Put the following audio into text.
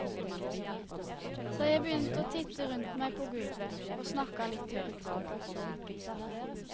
Så jeg begynte å titte rundt meg på gulvet og snakka litt høyt.